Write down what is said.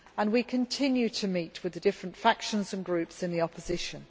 We continue to meet the different factions and groups in the opposition.